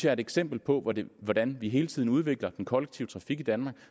er et eksempel på hvordan hvordan vi hele tiden udvikler den kollektive trafik i danmark